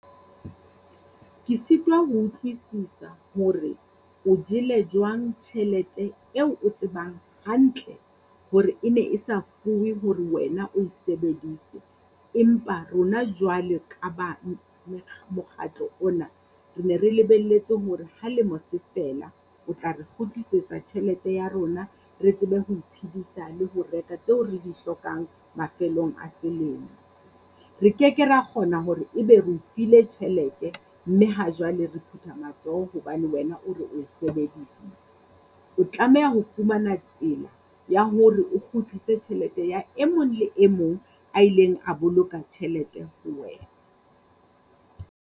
Ke sitwa ho utlwisisa hore o jele jwang tjhelete eo o tsebang hantle hore e ne e sa fuwe hore wena o e sebedise, empa rona jwale ka bang mokgatlo ona re ne re lebelletse hore ha lemo se fela, o tla re kgutlisetsa tjhelete ya rona. Re tsebe ho iphidisa le ho reka tseo re di hlokang mafelong a selemo. Re keke ra kgona hore ebe re o file tjhelete mme hajwale re phutha matsoho hobane wena o re o sebedisitse, o tlameha ho fumana tsela ya hore o kgutlise tjhelete ya e mong le e mong a ileng a boloka tjhelete ho wena.